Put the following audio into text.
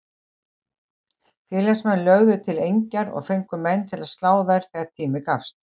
Félagsmenn lögðu til engjar og fengu menn til að slá þær þegar tími gafst.